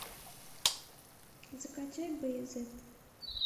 закачай баязет